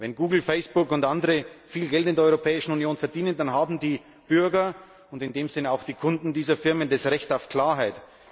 Wenn Google, Facebook und andere viel Geld in der Europäischen Union verdienen, dann haben die Bürger und damit auch die Kunden dieser Firmen das Recht auf Klarheit.